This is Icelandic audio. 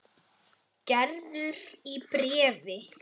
Gerður í bréfi.